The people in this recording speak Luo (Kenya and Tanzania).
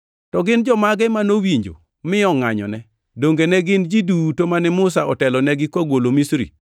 To gin jomage manowinjo mi ongʼanyone? Donge ne gin ji duto mane Musa otelonegi kogolo Misri?